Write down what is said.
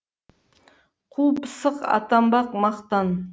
қу пысық атанбақ мақтан